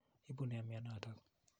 Ipu nee mianotok?